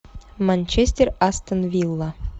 манчестер астон вилла